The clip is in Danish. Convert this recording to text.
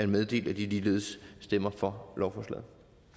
meddele at de ligeledes stemmer for lovforslaget